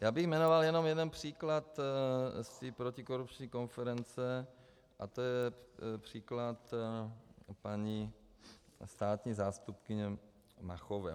Já bych jmenoval jenom jeden příklad z té protikorupční konference a to je příklad paní státní zástupkyně Máchová.